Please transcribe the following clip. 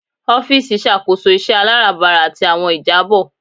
Ọfiisi ṣakoso iṣẹ alabara ati awọn ijabọ